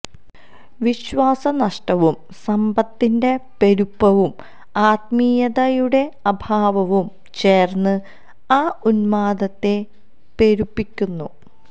വിശ്വാസ നഷ്ടവും സമ്പത്തിന്റെ പെരുപ്പവും ആത്മീയതയുടെ അഭാവവും ചേര്ന്ന് ആ ഉന്മാദത്തെ പെരുപ്പിക്കുന്നു